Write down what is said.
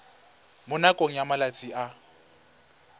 mo nakong ya malatsi a